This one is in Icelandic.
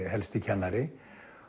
helsti kennari